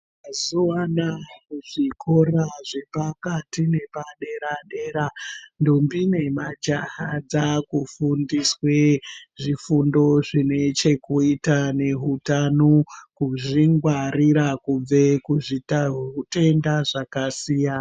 Mazuvaanaya, kuzvikora zvepakati nepadera dera, ntombi nemajaya dzaakufundiswe zvifundo zvinechekuita nehutano, kuzvingwarira kubve kuzvitenda zvakasiyana.